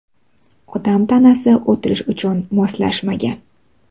Odam tanasi o‘tirish uchun moslashmagan.